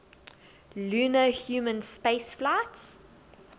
lunar human spaceflights